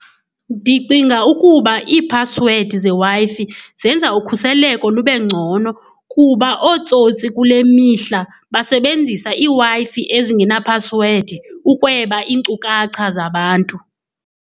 Ndicinga ukuba iiphasiwedi zeWi-Fi zenza ukhuseleko lube ngcono, kuba ootsotsi kule mihla basebenzisa iiWi-Fi ezingenaphasiwedi ukweba iinkcukacha zabantu.